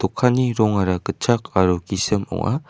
dokanni rongara gitchak aro gisim ong·a.